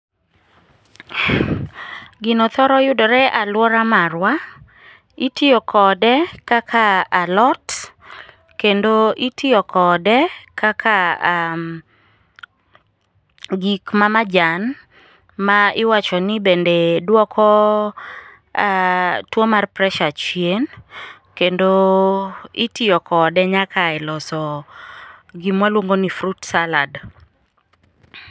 Gino thoro yudore e alwora marwa. Itiyo kode kaka alot, kendo itiyo kode kaka gik mamajan ma iwacho ni bende dwoko tuwo mar pressure chien, kendo itiyo kode nyaka i loso gima waluongo ni fruit salad.